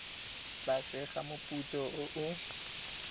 tlase ga moputso o o